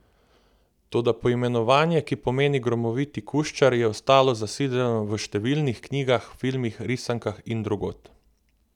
Toda poimenovanje, ki pomeni gromoviti kuščar, je ostalo zasidrano v številnih knjigah, filmih, risankah in drugod.